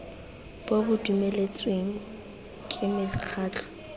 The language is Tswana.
bo bo dumeletsweng ke mekgatlho